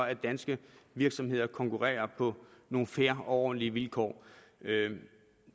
at danske virksomheder konkurrerer på nogle fair og ordentlige vilkår